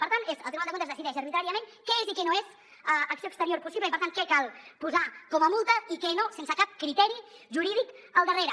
per tant el tribunal de cuentas decideix arbitràriament què és i què no és acció exterior possible i per tant què cal posar com a multa i què no sense cap criteri jurídic al darrere